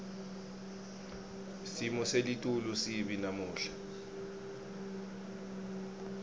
simo selitulu sibi namuhla